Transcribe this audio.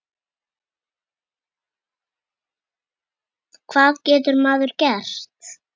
Hvað getur maður gert?